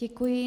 Děkuji.